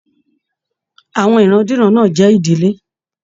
Àwọn ìran-diran náà n jẹ ìdílé.